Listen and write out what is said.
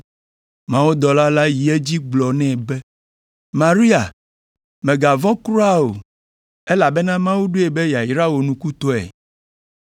Mawudɔla la yi edzi gblɔ nɛ be, “Maria, mègavɔ̃ kura o, elabena Mawu ɖoe be yeayra wò nukutɔe!